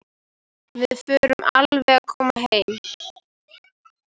Við förum alveg að koma heim.